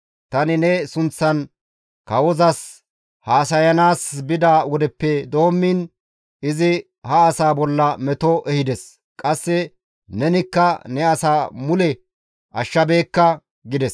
Tani ne sunththan kawaas haasayanaas bida wodeppe doommiin izi ha asaa bolla meto ehides. Qasse nenikka ne asaa mule ashshabeekka» gides.